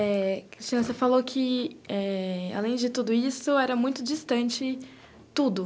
Eh... Cristina, você falou que eh.... Além de tudo isso, era muito distante tudo.